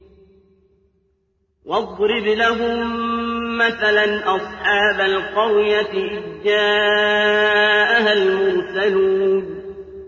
وَاضْرِبْ لَهُم مَّثَلًا أَصْحَابَ الْقَرْيَةِ إِذْ جَاءَهَا الْمُرْسَلُونَ